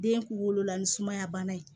Den kunkolo la ni sumaya bana ye